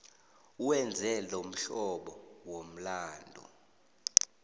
wenze lomhlobo womlandu